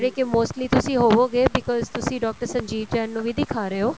ਕੇ mostly ਤੁਸੀਂ ਹੋਵੋਗੇ because ਤੁਸੀਂ ਡਾਕਟਰ ਸੰਜੀਵ ਜੈਨ ਨੂੰ ਹੀ ਦਿਖਾ ਰਹੇ ਹੋ